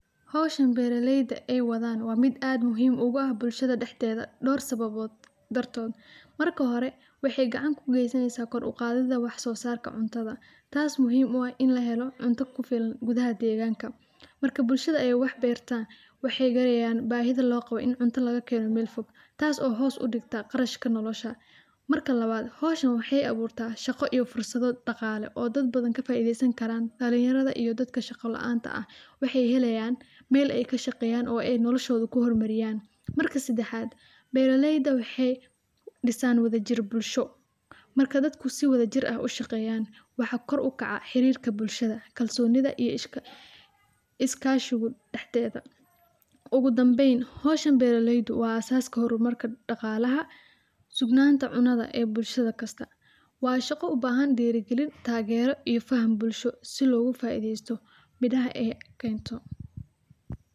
Hawshan beera leyda ay wadhan waa miid aad muhiim ugu aah bulshada daxdedha door sababood dartoodha. Marka hore waxay gacaan kugeysaneysa qoor ugadhidha wax so saarka cuntadha taas oo muhiim u aah in laa heelo cunta kufilaan gudhaha deeganka. Marka bulshada aay wax beer taan wax yarenayan baahidha in cunta laga keeno meel foog taaso hoos udigta qarshaka noo lasha. Marka lawaad hawshan waxay aburta shago iyo fursadho dagaal oo daad badhan kafaidheysan karaan dalaan yaradha iyo daadka shagalaanta waxay heeleyaan meel ay kashaqeyan oo nolashadha kuhoramariyaan. Marki sadaxat, beera leyda waxay diisan wadha jiir bulsho marki dadka sidha wadha jiir ay ushaegeyan wax koor u kaca bulshada kalsonida iyo iskashigo bulshada daxdedha. Ogadambeen, hawshan beera layda waa asaas hormarka dagalaha, sugnanta cunadha ay bulashda kaasta. Wa shaago ubahan dirigiliin, taagero iyo faham bulsho sii faaidhesto midhaha ay keento.